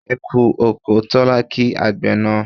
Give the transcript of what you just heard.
E kú oko' Tólá kí àgbẹ̀ náà